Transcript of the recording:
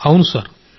ఖచ్చితంగా సార్